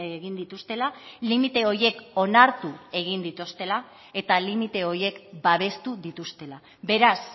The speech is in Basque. egin dituztela limite horiek onartu egin dituztela eta limite horiek babestu dituztela beraz